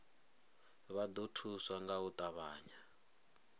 vha ḓo thuswa nga u ṱavhanya